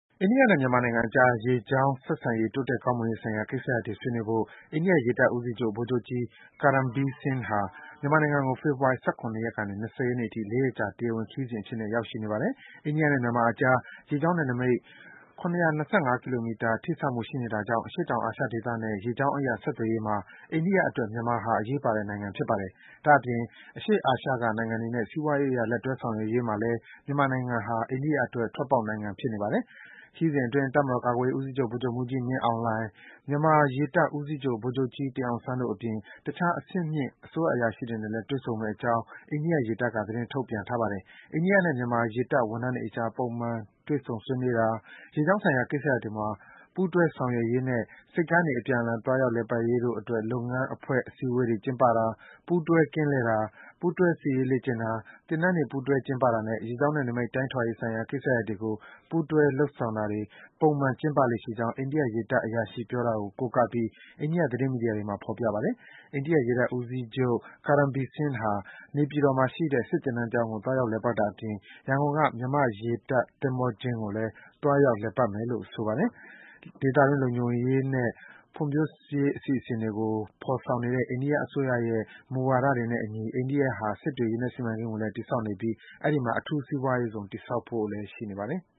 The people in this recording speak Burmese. အိန္ဒိယနဲ့ မြန်မာနိုင်ငံအကြား ရေကြောင်းဆက်ဆံရေး တိုးတက်ကောင်းမွန်ရေးဆိုင်ရာ ကိစ္စရပ်တွေ ဆွေးနွေးဖို့ အိန္ဒိယရေတပ်ဦးစီးချုပ် ဗိုလ်ချုပ်ကြီး Karambir Singh ဟာ မြန်မာနိုင်ငံကို ဖေဖော်ဝါရီ ၁၇ ကနေ ၂၀ ရက်နေ့အထိ ၄ ရက်ကြာ တရားဝင်ခရီးစဉ်အဖြစ်နဲ့ ရောက်ရှိနေပါတယ်။ အိန္ဒိယနဲ့ မြန်မာအကြား ရေကြောင်းနယ်နိမိတ် ၇၂၅ ကီလိုမီတာ ထိစပ်မှုရှိနေတာကြောင့် အရှေ့တောင် အာရှဒေသနဲ့ ရေကြောင်းအရ ဆက်သွယ်ရေးမှာ အိန္ဒိယအတွက် မြန်မာဟာ အရေးပါတဲ့ နိုင်ငံဖြစ်ပါတယ်။ ဒါ့အပြင် အရှေ့အာရှက နိုင်ငံတွေနဲ့ စီးပွားရေးအရ လက်တွဲ ဆောင်ရွက်ရေးမှာ မြန်မာဟာ အိန္ဒိယအတွက် ထွက်ပေါက်နိုင်ငံလည်း ဖြစ်နေတာပါ။ ခရီးစဉ်အတွင်း တပ်မတော်ကာကွယ်ရေးဦးစီးချုပ် ဗိုလ်ချုပ်မှူးကြီး မင်းအောင်လှိုင်၊ မြန်မာရေတပ်ဦးစီးချုပ် ဗိုလ်ချုပ်ကြီး တင်အောင်ဆန်းတို့အပြင် တခြား အဆင်မြင့် အစိုးရအရာရှိတွေနဲ့လည်း တွေ့ဆုံမယ့်အကြောင်း အိန္ဒိယရေတပ်က သတင်းထုတ်ပြန်ထားပါတယ်။ အိန္ဒိယနဲ့ မြန်မာရေတပ်ဝန်ထမ်းတွေအကြား ပုံမှန် တွေ့ဆုံဆွေးနွေးတာ၊ ရေကြောင်းဆိုင်ရာ ကိစ္စရပ်တွေမှာ ပူးတွဲဆောင်ရွက်ရေးနဲ့ ဆိပ်ကမ်းတွေ အပြန်အလှန် သွားရောက် လည်ပတ်ရေးတို့အတွက် လုပ်ငန်းအဖွဲ့စည်းဝေးပွဲ ကျင်းပတာ၊ ပူးတွဲ ကင်းလှည့်တာ၊ ပူးတွဲ စစ်ရေးလေ့ကျင့်တာ၊ သင်တန်းတွေ ပူးတွဲကျင်းပတာနဲ့ ရေကြောင်းနယ်နိမိတ် တိုင်းထွာရေးဆိုင်ရာ ကိစ္စတွေကို ပူးတွဲ လုပ်ဆောင်တွေ ပုံမှန် ကျင်းပလေ့ရှိကြောင်း အိန္ဒိယရေတပ်အရာရှိပြောတာကို ကိုးကားပြီး အိန္ဒိယသတင်းမီဒီယာတွေမှာ ဖော်ပြပါတယ်။ အိန္ဒိယရေတပ်ဦးစီးချုပ် Karambir Singh ဟာ နေပြည်တော်မှာရှိတဲ့ စစ်သင်တန်းကျောင်းကို သွားရောက် လည်ပတ်တာအပြင် ရန်ကုန်က မြန်မာ့ရေတပ် သင်္ဘောကျင်းကိုလည်း သွားရောက်လည်ပတ်မယ်ဖို့ ရှိတယ်လို့ ဆိုပါတယ် ဒေသတွင်း လုံခြုံရေးနဲ့ ဖွံ့ဖြိုးရေးအစီအစဉ်တွေကို ဖော်ဆောင်နေတဲ့ အိန္ဒိယအစိုးရရဲ့ မူဝါဒတွေနဲ့အညီ အိန္ဒိယဟာ စစ်တွေ ရေနက်စီမံကိန်းကိုလည်း တည်ဆောက်နေပြီး အဲဒီမှာ အထူးစီးပွားရေးဇုံ တည်ဆောက်ဖို့လည်း ရှိနေပါတယ်။